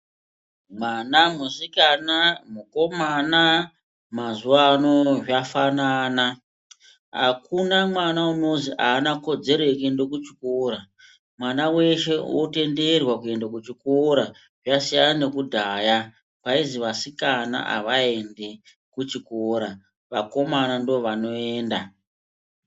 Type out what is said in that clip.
Mwana musikana mukomana mazuva ano zvafanana akuna mwana unozi anaa kodzero yekuenda kuchikora mwana weshe wotenderwa kuende kuchikora zvasiyana nekudhaya kwaizi vasikana avaendi kuchikora vakomana ndovanoenda.